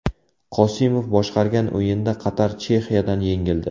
Qosimov boshqargan o‘yinda Qatar Chexiyadan yengildi.